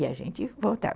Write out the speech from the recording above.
E a gente voltava.